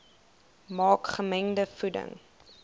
maak gemengde voeding